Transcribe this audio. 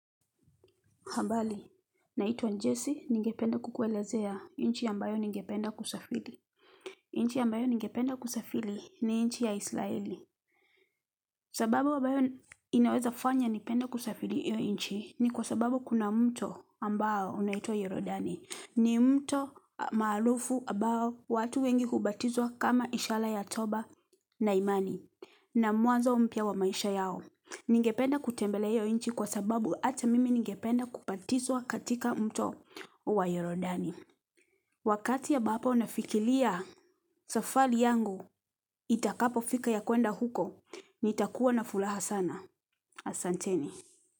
Habali, naitwa Njesi, ningependa kukuelezea nchi ambayo ningependa kusafiri. Nchi ambayo ningependa kusafiri ni nchi ya Israeli. Sababu ambayo inaweza fanya nipende kusafiri iyo nchi ni kwa sababu kuna mto ambao unaitwa Yorodani. Ni mto maalufu abao watu wengi hubatizwa kama ishala ya toba na imani na mwanzo mpya wa maisha yao. Ningependa kutembelea hiyo nchi kwa sababu ata mimi ningependa kubatizwa katika mto wa Yorodani. Wakati abapo na fikilia safali yangu itakapo fika ya kuenda huko nitakuwa na fulaha sana. Asante ni.